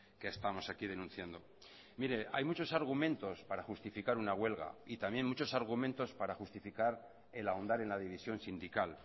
que estamos aquí denunciando mire hay muchos argumentos para justificar una huelga y también muchos argumentos para justificar el ahondar en la división sindical